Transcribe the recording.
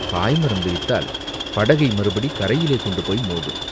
பாய்மரம் விரித்தால் படகை மறுபடி கரையிலே கொண்டு போய் மோதும்.